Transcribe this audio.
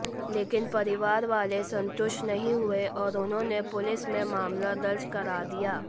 लेकिन परिवार वाले संतुष्ट नहीं हुए और उन्होंने पुलिस में मामला दर्ज करा दिया